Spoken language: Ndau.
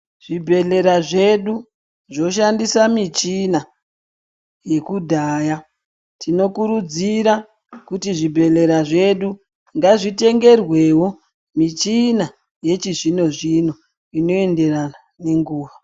Zvibhedhlera zvedu zvoshandisa michina yekudhaya. Tinokurudzira kuti zvibhedhlera zvedu ngazvitengerwewo michini yechizvino-zvino inoenderana nenguva.